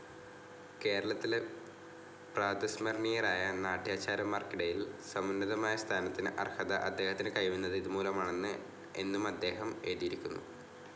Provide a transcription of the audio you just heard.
കേരളത്തിലെ പ്രാതസ്മരണീയരായ നാട്യാചാര്യന്മാർക്കിടയിൽ സമുന്നതമായ സ്ഥാനത്തിന് അർഹത അദ്ദേഹത്തിന് കൈവന്നത് ഇതുമൂലമാണ് എന്നുമദ്ദേഹം എഴുതിയിരിക്കുന്നു.